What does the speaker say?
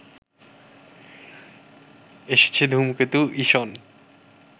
এসেছে ধূমকেতু ইসন